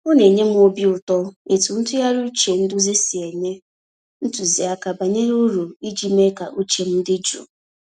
Ọ na enye m obi ụtọ etu ntụgharị uche nduzi si enye ntụziaka bara uru iji mee ka uche m dị jụụ.